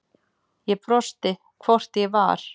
Ég brosti, hvort ég var!